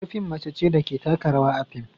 Yar fim mace ce da ke taka rawa a fim